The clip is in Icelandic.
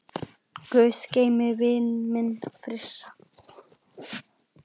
Guð geymi vininn minn Frissa.